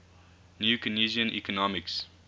new keynesian economics